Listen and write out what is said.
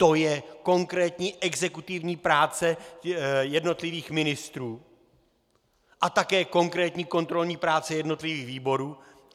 To je konkrétní exekutivní práce jednotlivých ministrů a také konkrétní kontrolní práce jednotlivých výborů.